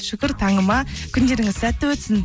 шүкір таңыма күндеріңіз сәтті өтсін